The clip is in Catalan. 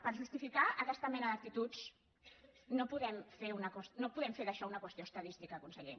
per justificar aquesta mena d’actituds no podem fer d’això una qüestió estadística conseller